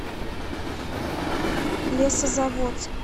лесозаводск